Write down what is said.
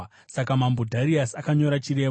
Saka Mambo Dhariasi akanyora chirevo.